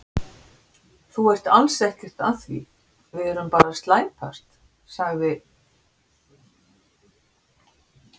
Þú ert alls ekkert að því, við erum bara að slæpast, sagði